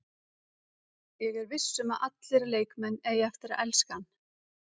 Ég er viss um að allir leikmenn eiga eftir að elska hann.